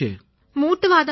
மூட்டுவாதம்யா